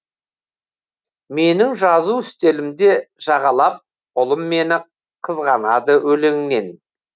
менің жазу үстелімде жағалап ұлым мені қызғанады өлеңнен